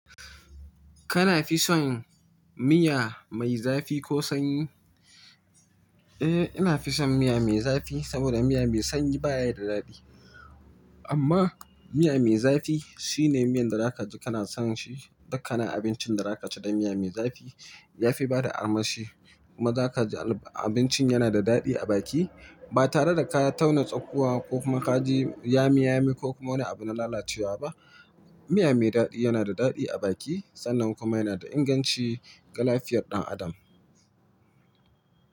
Kana fi son miya mai zafi ko sanyi? Eh, ina fi son miya mai zafi saboda miya mai sanyi baya da daɗi. Amma miya mai zafi shi ne miyan da zaka ji kana son shi. Dukkanin abincin da zaka ci da miya mai zafi ya fi bada armashi. Kuma zaka ji abincin yana da daɗi a baki ba tare da ka tauna tsakuwa ko kuma ka ji yamiyami ko kuma wani abu na lalacewa ba. Miya mai daɗi yana da daɗi a baki sannan kuma yana da inganci ga lafiyar ɗan adam.